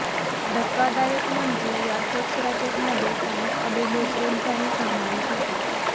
धक्कादायक म्हणजे या सेक्स रॅकेटमध्ये काही अभिनेत्रींचाही समावेश होता